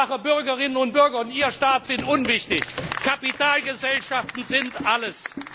Einfache Bürgerinnen und Bürger und ihr Staat sind unwichtig, Kapitalgesellschaften sind alles!